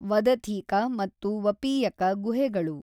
ವದಥೀಕ ಮತ್ತು ವಪೀಯಕ ಗುಹೆಗಳು.